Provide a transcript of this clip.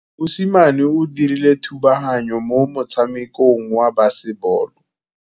Mosimane o dirile thubaganyô mo motshamekong wa basebôlô.